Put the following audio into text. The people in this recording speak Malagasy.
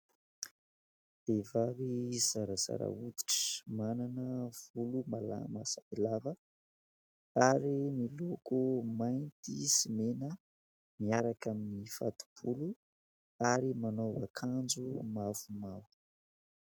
Vehivavy zarazara hoditra manana volo malama sy lava ary miloko mainty sy mena miaraka amin'ny fato-bolo ary manao akanjo mavomavo.